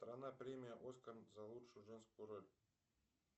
страна премия оскар за лучшую женскую роль